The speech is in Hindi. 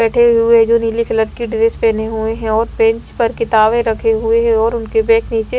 बैठे हुए जो नीले कलर की ड्रेस पहने हुए हैं और बेंच पर किताबें रखे हुए हैं और उनके बैग नीचे--